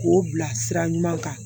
K'o bila sira ɲuman kan